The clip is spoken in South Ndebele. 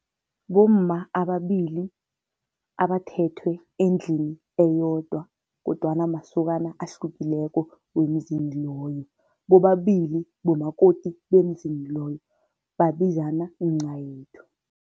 Bomma ababili abathethwe endlini eyodwa kodwana masokana ahlukileko wemzini loyo, bobabili bomakoti bemzini loyo, babizana mncayethu.